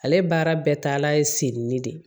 Ale baara bɛɛ taala ye senni de